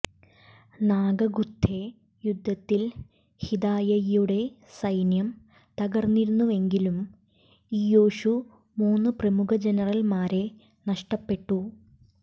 നാഗഖുത്തേ യുദ്ധത്തിൽ ഹിദായ്യയുടെ സൈന്യം തകർന്നിരുന്നുവെങ്കിലും ഇയ്യോഷു മൂന്നു പ്രമുഖ ജനറൽമാരെ നഷ്ടപ്പെട്ടു